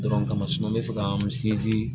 Dɔrɔn kama n bɛ fɛ ka n sinsin